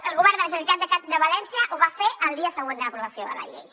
el govern de la generalitat de valència ho va fer el dia següent de l’aprovació de la llei